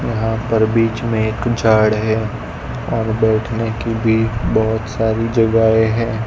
यहां पर बीच में एक झाड है और बैठने की भी बहोत सारी जगए हैं।